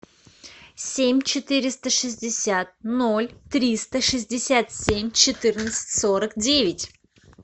семь четыреста шестьдесят ноль триста шестьдесят семь четырнадцать сорок девять